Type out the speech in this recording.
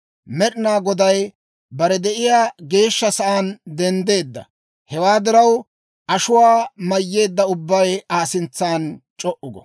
Med'inaa Goday bare de'iyaa geeshsha sa'aan denddeedda; hewaa diraw, ashuwaa mayyeedda ubbay Aa sintsan c'o"u go!